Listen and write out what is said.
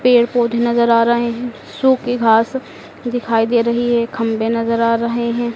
पेड़ पौधे नजर आ रहे हैं सूखी घास दिखाई दे रही है खंभे नजर आ रहे हैं।